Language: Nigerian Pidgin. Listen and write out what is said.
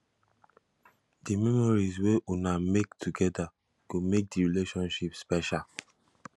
di memories wey una make togeda go make di relationship special